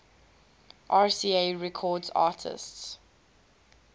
rca records artists